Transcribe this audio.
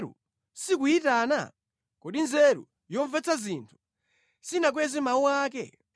Kodi nzeru sikuyitana? Kodi nzeru yomvetsa zinthu sinakweze mawu ake?